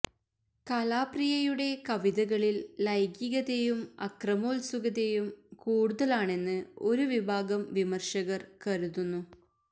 കലാപ്രിയയുടെ കവിതകളിൽ ലൈംഗികതയും അക്രമോത്സുകതയും കൂടുതലാണെന്ന് ഒരു വിഭാഗം വിമർശകർ കരുതുന്നു